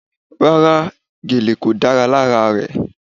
Rárá, gèlè kò dára lára rẹ.